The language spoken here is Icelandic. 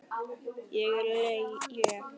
Ég er létt.